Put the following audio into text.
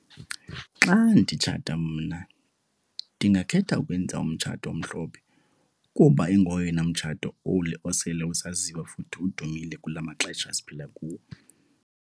Xa nditshata mna ndingakhetha ukwenza umtshato omhlophe kuba ingoyena umtshato osele usaziwa futhi udumile kula maxesha siphila kuwo.